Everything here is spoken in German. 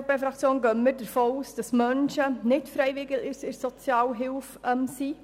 Als EVP-Fraktion gehen wir davon aus, dass Menschen nicht freiwillig von der Sozialhilfe abhängen